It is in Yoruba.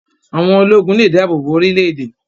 Àwọn ológun lè dáàbò bo orílẹ̀-èdè